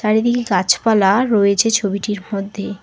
চারিদিকে গাছপালা রয়েছে ছবিটির মধ্যে।